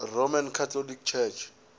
roman catholic church